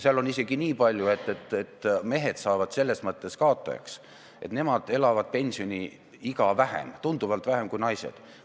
Seal on isegi niipalju, et mehed jäävad selles mõttes kaotajaks, et nemad elavad pärast pensioniikka jõudmist vähem, tunduvalt vähem kui naised.